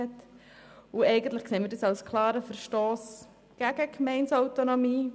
Wir erachten das als klaren Verstoss gegen die Gemeindeautonomie.